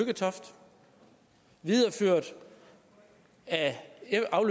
jeg sige at